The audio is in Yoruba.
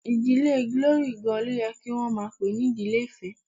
Ìdílé Glory gan-an ni ó yẹ kí wọn máa pè ní Ìdílé ìfẹ́.